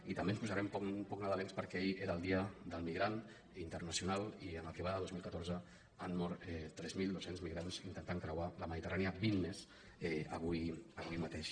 i també ens posarem poc nadalencs perquè ahir era el dia internacional del migrant i en el que va del dos mil catorze han mort tres mil dos cents migrants intentant creuar la mediterrània vint més avui mateix